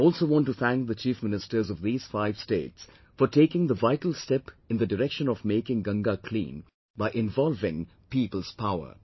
I also want to thank the Chief Ministers of these five States for taking the vital step in the direction of making Ganga clean by involving people's power